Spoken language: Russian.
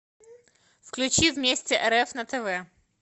включи вместе рф на тв